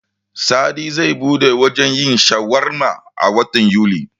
Sadi zai buɗe wajen yin shawarma a watan Yuli.